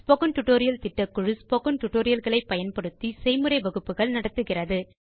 spoken tutorial திட்டக்குழு spoken tutorial களை பயன்படுத்தி செய்முறை வகுப்புகள் நடத்துகிறது